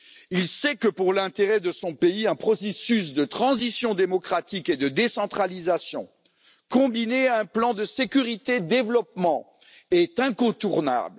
Il sait que, pour l'intérêt de son pays, un processus de transition démocratique et de décentralisation, combiné à un plan de sécurité et de développement, est incontournable.